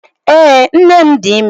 ee, nnem di ime.